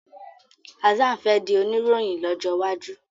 Hassan fè dì Oníròhìn lójó waju.